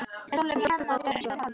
Hann hljóp við fót og út í sjoppu.